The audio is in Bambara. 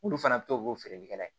Olu fana bɛ to k'o feerelikɛla ye